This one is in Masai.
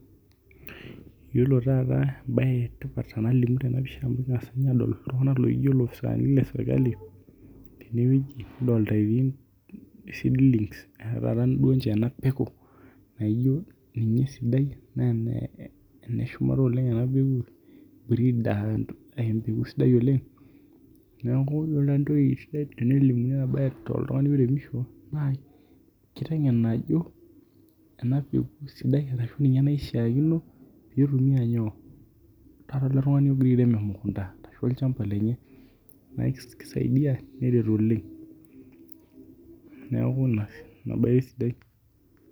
Yiolo tata ebae tena pisha nengas ninye adol iltung'analaijo loopisani le serikali teneweji adolita seedlings ninche anapekeu naijo ninye esidai naa ene shumata bree naa empeku sidai oleng neeku iyiolo entoki sidai tenilimu oltung'ani liremisho naa kitengen ajo ena peku esidai ashu naishakiino nitumia nyoo? Taata ele tung'ani pee irem emukunta oo lchmba lenye naa kisaidia neret oleng' neeku ina bae esidai.